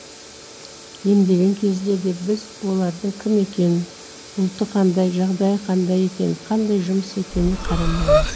емдеген кезде де біз олардың кім екенін ұлты қандай жағдайы қандай екенін қандай жұмыс екеніне қарамаймыз